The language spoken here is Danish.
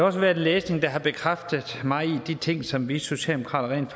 også været læsning der har bekræftet mig i de ting som vi socialdemokrater rent